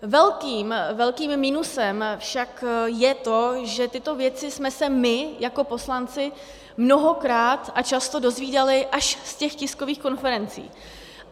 Velkým minusem však je to, že tyto věci jsme se my jako poslanci mnohokrát a často dozvídali až z těch tiskových konferencí.